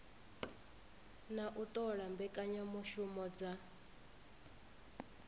na u ṱola mbekanyamushumo dza